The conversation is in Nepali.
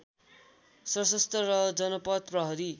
सशस्त्र र जनपथ प्रहरी